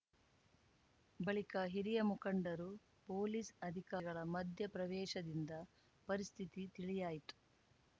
ಬಳಿಕ ಹಿರಿಯ ಮುಖಂಡರು ಪೊಲೀಸ್‌ ಅಧಿಕಾಗಳ ಮಧ್ಯಪ್ರವೇಶದಿಂದ ಪರಿಸ್ಥಿತಿ ತಿಳಿಯಾಯಿತು